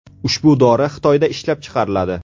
Ushbu dori Xitoyda ishlab chiqariladi.